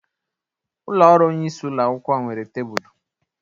Ụlọ ọrụ onyeisi ụlọ akwụkwọ nwere tabulu